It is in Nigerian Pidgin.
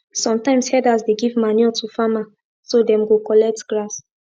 sometimes herders dey give manure to farmer so them go collect grass